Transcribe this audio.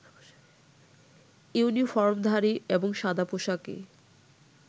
ইউনিফর্মধারী এবং সাদা পোশাকে